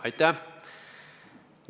Aitäh!